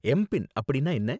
MPIN அப்படின்னா என்ன?